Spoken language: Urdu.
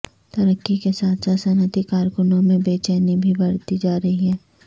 ترقی کے ساتھ ساتھ صنعتی کارکنوں میں بے چینی بھی بڑھتی جا رہی ہے